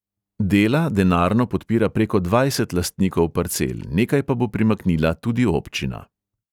Dela denarno podpira preko dvajset lastnikov parcel, nekaj pa bo primaknila tudi občina.